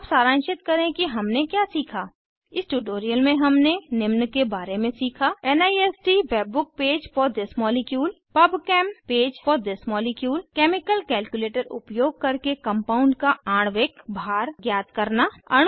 अब सारांशित करें कि हमने क्या सीखा इस ट्यूटोरियल में हमने निम्न के बारे में सीखा NIST WebBook page for this molecule pub chem page for the molecule chemical calculator उपयोग करके कंपाउंड का आणविक भार ज्ञात करना